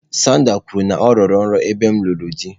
Sandra kwuru na ya rọrọ nrọ ebe m lụrụ di.